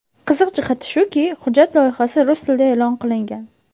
Qiziq jihati shuki, hujjat loyihasi rus tilida e’lon qilingan.